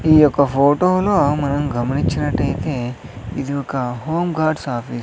ఈ ఒక ఫోటోను మనం గమనించినట్టయితే ఇది ఒక హోంగార్డ్స్ ఆఫీస్ .